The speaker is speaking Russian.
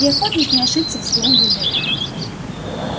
и охотник не ошибся в своём выборе